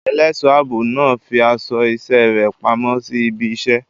Ẹlẹ́ṣọ̀ ààbò náà fi aṣọ iṣẹ́ rẹ̀ pamọ́ sí ibi iṣẹ́.